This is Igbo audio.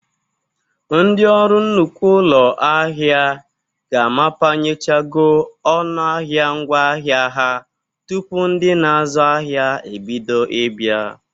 Ndị ọrụ nnukwu ụlọ ahia ga-amapanyechago ọnụ ahịa ngwa ahịa ha tupu ndị na-azụ ahịa ebido ịbịa.